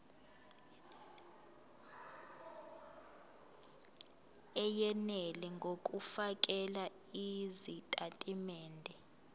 eyenele ngokufakela izitatimende